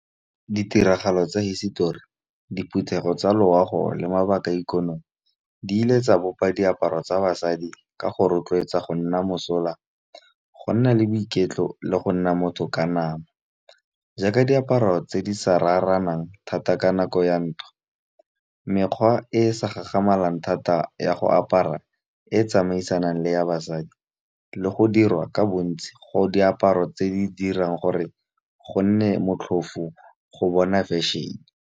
Ditiragalo tsa hisetori, diphuthego tsa loago le mabaka a ikonomi di ile tsa bopa diaparo tsa basadi ka go rotloetsa go nna mosola, go nna le boiketlo le go nna motho ka nama. Jaaka diaparo tse di sa raranang thata ka nako ya ntwa, mekgwa e e sa gagamalang thata ya go apara e tsamaisanang le ya basadi le go dirwa ka bontsi go diaparo tse di dirang gore go nne motlhofo go bona fashion-e.